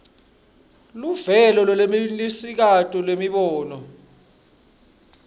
luvelo lolwenelisako lwemibono